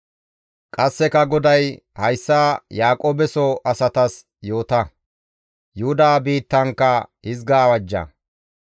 Qasseka GODAY, «Hayssa Yaaqoobeso asatas yoota; Yuhuda biittankka hizga awajja;